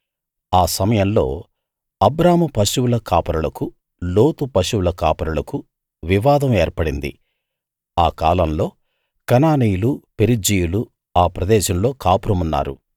ఆ సమయంలో అబ్రాము పశువుల కాపరులకు లోతు పశువుల కాపరులకు వివాదం ఏర్పడింది ఆ కాలంలో కనానీయులు పెరిజ్జీయులు ఆ ప్రదేశంలో కాపురం ఉన్నారు